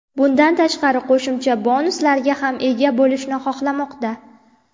Bundan tashqari qo‘shimcha bonuslarga ham ega bo‘lishni xohlamoqda.